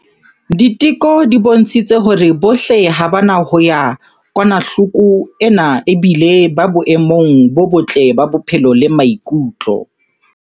Diteko di bontshitse hore bohle ha ba na yona kokwanahloko ena ebile ba boemong bo botle ba bophelo le ba maikutlo.